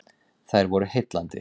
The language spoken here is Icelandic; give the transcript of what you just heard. Þær voru heillandi.